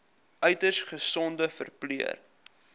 uiters gesogde verpleër